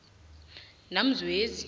namzwezi